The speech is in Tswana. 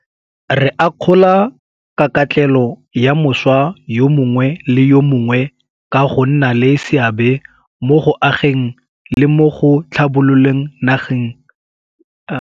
Re akgola kakatlelo ya mošwa yo mongwe le yo mongwe ka go nna le seabe mo go ageng le mo go tlhabololeng naga ya rona.